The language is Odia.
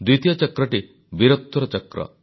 ଦ୍ୱିତୀୟ ଚକ୍ରଟି ବୀରତ୍ୱର ଚକ୍ର